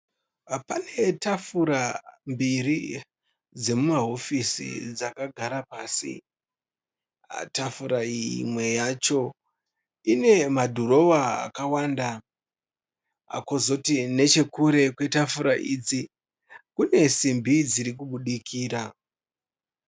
Pane tafura mbiri dzemumahofisi dzakagara pasi . Tafura iyi imwe yacho ine madhirowa akawanda. Kwozoti nechekure kwetafura idzi kune simbi dziri kubudikira.